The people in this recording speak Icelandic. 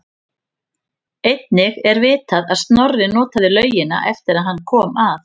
Einnig er vitað að Snorri notaði laugina eftir að hann kom að